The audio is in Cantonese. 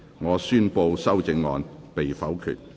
我宣布議案獲得通過。